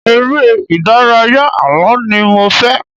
Ère-ìdárayá àlọ́ ni mo fẹ́.